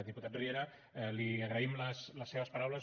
diputat riera li agraïm les seves paraules